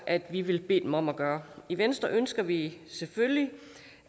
at vi vil bede dem om at gøre i venstre ønsker vi selvfølgelig